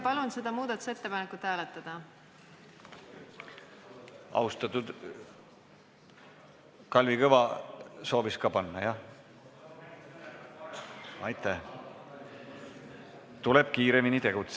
Palun seda muudatusettepanekut hääletada!